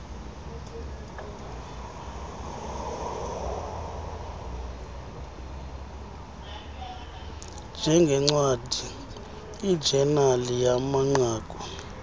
njengncwadi ijenali yamanqaku